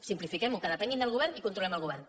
simplifiquem ho que depenguin del govern i controlem el govern